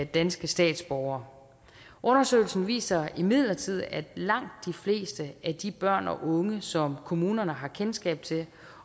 danske statsborgere undersøgelsen viser imidlertid at langt de fleste af de børn og unge som kommunerne har kendskab til